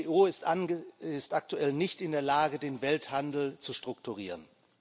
Die WTO ist aktuell nicht in der Lage, den Welthandel zu strukturieren.